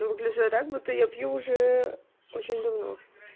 а выгляжу я так будто я пью уже очень давно